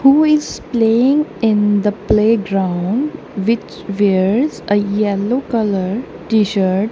who is playing in the playground which wears ah yellow colour tshirt.